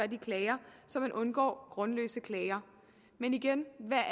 de klager så man undgår grundløse klager men igen hvad